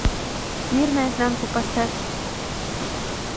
мир наизнанку поставь